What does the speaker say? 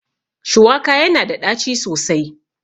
Shuwaka yana da ɗaci sosai